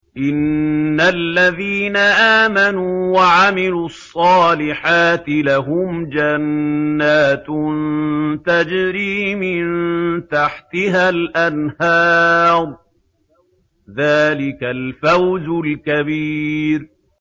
إِنَّ الَّذِينَ آمَنُوا وَعَمِلُوا الصَّالِحَاتِ لَهُمْ جَنَّاتٌ تَجْرِي مِن تَحْتِهَا الْأَنْهَارُ ۚ ذَٰلِكَ الْفَوْزُ الْكَبِيرُ